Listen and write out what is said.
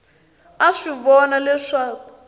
a a swi vona leswaku